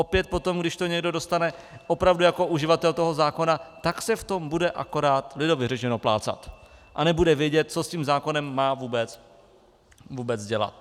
Opět potom, když to někdo dostane opravdu jako uživatel toho zákona, tak se v tom bude akorát lidově řečeno plácat a nebude vědět, co s tím zákonem má vůbec dělat.